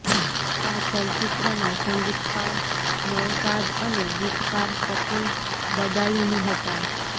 આ ચલચિત્રના સંગીતકાર નૌશાદ અને ગીતકાર શકીલ બદાયુની હતા